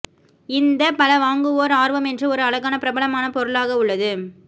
இந்த பல வாங்குவோர் ஆர்வம் என்று ஒரு அழகான பிரபலமான பொருளாக உள்ளது